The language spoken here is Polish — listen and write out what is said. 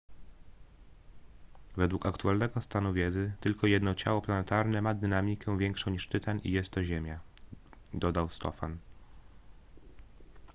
według aktualnego stanu wiedzy tylko jedno ciało planetarne ma dynamikę większą niż tytan i jest to ziemia dodał stofan